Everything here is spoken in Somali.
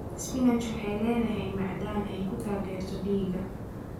Spinachi waxay leedahay macdan ay ku taageerto dhiigga.